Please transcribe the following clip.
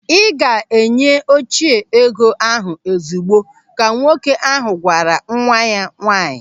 "Ị ga-enye Oche ego ahụ ozigbo", ka nwoke ahụ gwara nwa ya nwaanyị.